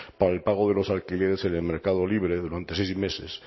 para el pago de los alquileres en el mercado libre durante seis meses